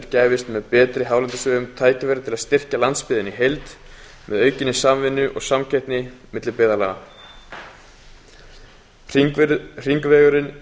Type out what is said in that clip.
gæfist með betri hálendisvegum tækifæri til að styrkja landsbyggðina í heild með aukinni samvinnu og samkeppni milli byggðarlaga hringvegurinn yrði